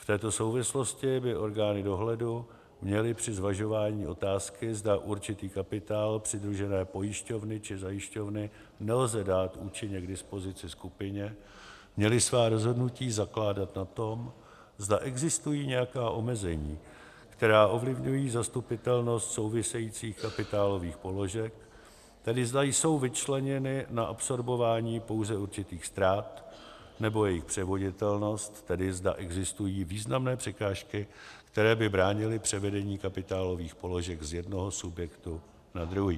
V této souvislosti by orgány dohledu měly při zvažování otázky, zda určitý kapitál přidružené pojišťovny či zajišťovny nelze dát účinně k dispozici skupině, měly svá rozhodnutí zakládat na tom, zda existují nějaká omezení, která ovlivňují zastupitelnost souvisejících kapitálových položek, tedy zda jsou vyčleněny na absorbování pouze určitých ztrát, nebo jejich převoditelnost, tedy zda existují významné překážky, které by bránily převedení kapitálových položek z jednoho subjektu na druhý.